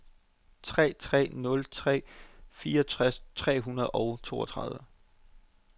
tre tre nul tre fireogtres tre hundrede og toogtredive